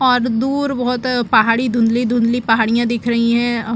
और दूर बहुत पहाड़ी धुंधली धुंधली पहाड़ियां दिख रही है।